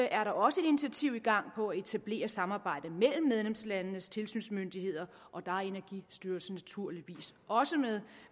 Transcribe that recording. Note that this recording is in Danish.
er der også initiativer i gang for at etablere et samarbejde mellem medlemslandenes tilsynsmyndigheder og der er energistyrelsen naturligvis også med